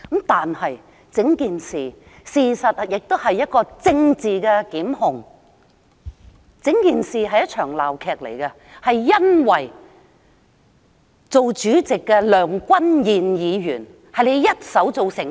但整件事，事實上亦是一場政治檢控，整件事是一場鬧劇，是由主席梁君彥議員一手做成。